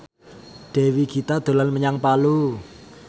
Dewi Gita dolan menyang Palu